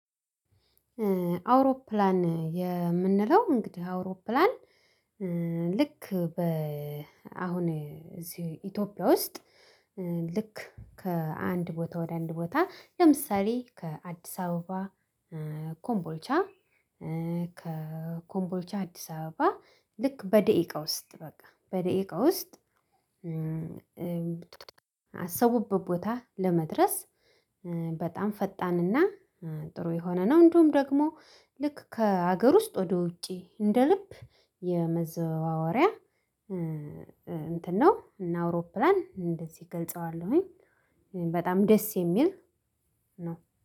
አውሮፕላን የምንለው እንግዲህ አውሮፕላን ልክ በ አሁን እዚህ ኢትዮጵያ ውስጥ ልክ ከአንድ ቦታ ወደ አንድ ቦታ ለምሳሌ ከአዲስ አበባ ኮምቦልቻ ከኮምቦልቻ አዲስ አበባ ልክ በደቂቃ ውስጥ በቃ በደቂቃ ውስጥ ካሰቡበት ቦታ ለመድረስ በጣም ፈጣንና ጥሩ የሆነ ነው። እንደውም ደግሞ ልክ ከሀገር ውስጥ ወደ ውጪ እንደ ልብ የመዘዋወሪያ እንትን ነው። እና አውሮፕላን እንደዚህ ገልጸዋለሁኝ በጣም ደስ የሚል ነው።